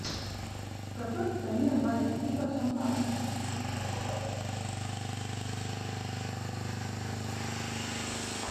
в какой стране варят пиво шампанское